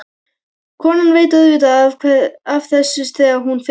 Konan veit auðvitað af þessu þegar hún fer.